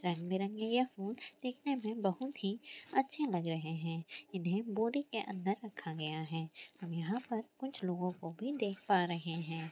रंग बी रंगी फूल दिखने मे बोहत ही अच्छे लग रहे है इनको बोरी के अंदर रखा गया है यह पर कुछ लोगों को भी देख पा रहे है।